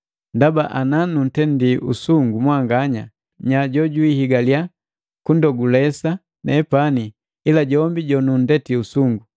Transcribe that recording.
Ndaba ananuntendi usungu mwanganya, nya jojuhigalya kundogulesa nepani ila jombi jonundeti usungu!